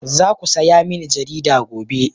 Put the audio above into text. Za ku saya mini jarida gobe